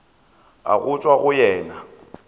a go tšwa go yena